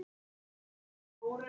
Bítur á beittan öngul.